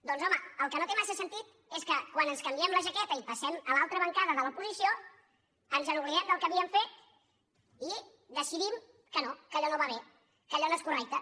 doncs home el que no té massa sentit és que quan ens canviem la jaqueta i passem a l’altra bancada de l’oposició ens oblidem del que havíem fet i decidim que no que allò no va bé que allò no és correcte